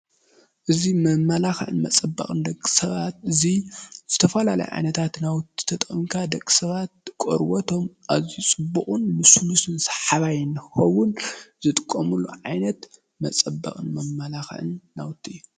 እዚ መመላኽዕን መፀበቕን ደቂ ሰባት እዚ ዝተፈላለዩ ዓይነታት ናውቲ ተጠቒምካ ደቂ ሰባት ቆርቦቶም ኣዝዩ ፅቡቕን ልስሉስ ሰሓባይ ንክኸውን ዝጥቀሙሉ ዓይነት መፀበቕን መመላኽዕን ናውቲ እዩ።